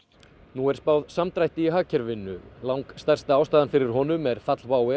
nú er spáð samdrætti í hagkerfinu langstærsta ástæðan fyrir honum er fall WOW